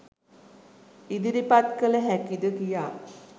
ඉදිරිපත් කළ හැකිද කියා.